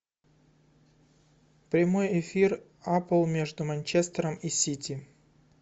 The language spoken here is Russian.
прямой эфир апл между манчестером и сити